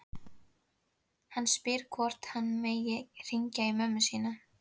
Hann spyr hvort hann megi hringja í mömmu sína.